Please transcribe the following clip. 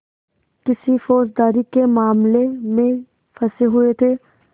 किसी फौजदारी के मामले में फँसे हुए थे